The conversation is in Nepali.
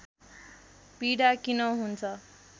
पीडा किन हुन्छ